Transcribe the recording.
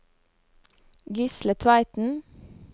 Gisle Tveiten